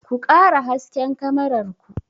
Ku ƙara hasken kamarar ku!